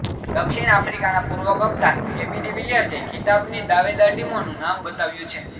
દક્ષિણ આફ્રિકાના પૂર્વ કપ્તાન એબી ડિવિલિયર્સેએ ખિતાબની દાવેદાર ટીમોનુ નામ બતાવ્યુ છે